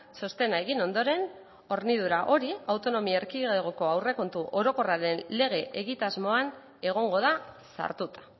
txostena egin ondoren hornidura hori autonomia erkidegoko aurrekontu orokorraren lege egitasmoan egongo da sartuta